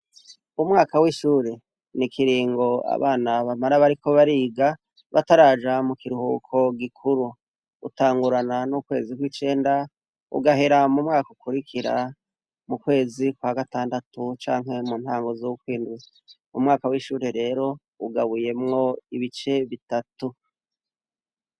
Umwaka w’ishure, ni ikiringo abana bamara bariko bariga bataraja mu kiruhuko gikuru, utangurana n'ukwezi kw’icenda ugahera mu mwaka ukurikira mu kwezi kwa gatandatu canke mu ntango z’ukwindwi, umwaka w’ishure rero ugabuyemwo ibice bitatu.